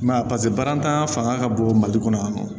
I m'a ye paseke balantan fanga ka bon mali kɔnɔ yan nɔ